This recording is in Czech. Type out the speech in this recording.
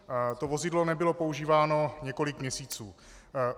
To vozidlo nebylo používáno několik měsíců.